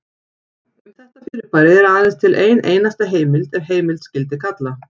Um þetta fyrirbæri er aðeins til ein einasta heimild ef heimild skyldi kalla.